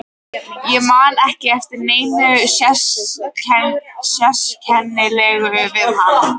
Ég man ekki eftir neinu sérkennilegu við hann.